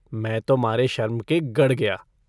मैं तो मारे शर्म के गड़ गया।